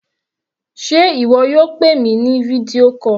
Sé ìwọ yóò pè mi ní fídíò call?